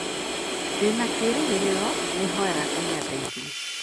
Ndĩ na kĩĩrĩgĩrĩro, nĩ hoyaga Ngai andeithie.